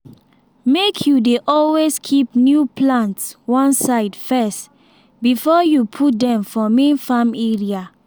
make you dey always keep new plants one side first before you put dem for main farm area.